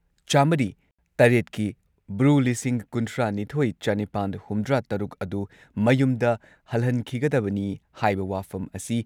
ꯆꯥꯃꯔꯤ ꯇꯔꯦꯠꯀꯤ ꯕ꯭ꯔꯨ ꯂꯤꯁꯤꯡ ꯀꯨꯟꯊ꯭ꯔꯥꯅꯤꯊꯣꯏ ꯆꯥꯅꯤꯄꯥꯟ ꯍꯨꯝꯗ꯭ꯔꯥꯇꯔꯨꯛ ꯑꯗꯨ ꯃꯌꯨꯝꯗ ꯍꯜꯍꯟꯈꯤꯒꯗꯕꯅꯤ ꯍꯥꯏꯕ ꯋꯥꯐꯝ ꯑꯁꯤ